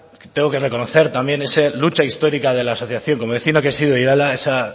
tengo que reconocer también esa lucha histórica de la asociación como vecino que he sido de irala esa